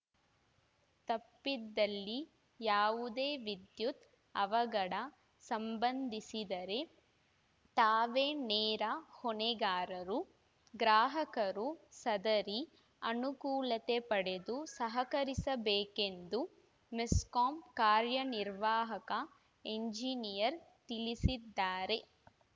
ತಪ್ಪಿದಲ್ಲಿ ಯಾವುದೇ ವಿದ್ಯುತ್‌ ಅವಘಡ ಸಂಬಂಧಿಸಿದರೆ ತಾವೇ ನೇರ ಹೊಣೆಗಾರರು ಗ್ರಾಹಕರು ಸದರಿ ಅನುಕೂಲತೆ ಪಡೆದು ಸಹಕರಿಸಬೇಕೆಂದು ಮೆಸ್ಕಾಂ ಕಾರ್ಯನಿರ್ವಾಹಕ ಎಂಜಿನಿಯರ್‌ ತಿಳಿಸಿದ್ದಾರೆ